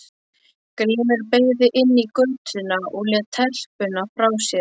Grímur beygði inn í götuna og lét telpuna frá sér.